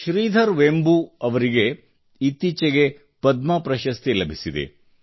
ಶ್ರೀಧರ್ ವೆಂಬೂ ಅವರಿಗೆ ಇತ್ತೀಚೆಗೆ ಪದ್ಮ ಪ್ರಶಸ್ತಿ ಲಭಿಸಿದೆ